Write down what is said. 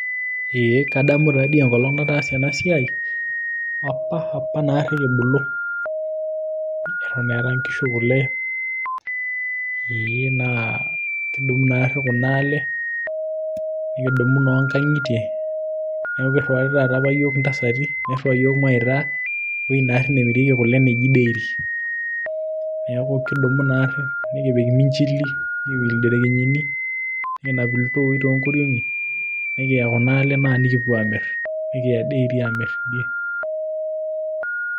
ee kadamu taadii enkolong nataasa ena siai, apa apa naari kibulu, etonn eeta nkishu kule, ee naa kidumu nari kuna le, nikidumu inoo nkang'itie. neeku kiriwari taata yiook intasati, niriwari mawaita kule ewueji naari nemirieki neji dairy. neeku kidumu naari, nikipik iminchili, nikipik ilderekenyini, nikinap iltooi too nkoriong'i, nikiya kuna le naa nikipuo aamiri. nikiya dairy naa nikipuo aamir teidie.